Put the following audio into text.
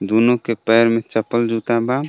दूनो के पैर में चप्पल जूता बा.